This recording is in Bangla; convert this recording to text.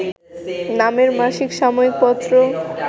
নামের মাসিক সাময়িক পত্র